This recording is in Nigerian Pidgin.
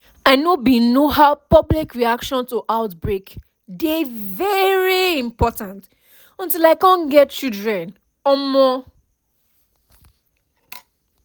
i know bin know how public reaction to outbreak dey very important until i cum get children um